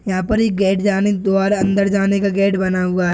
यह पर एक गेट जाने द्वार अंदर जाने का गेट बना हुआ है।